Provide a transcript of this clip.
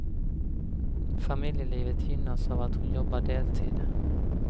Familjelivet gynnas av att hon jobbar deltid.